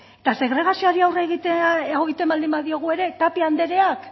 eta segregaziori aurre egitea edo egiten baldin badiogu ere tapia andreak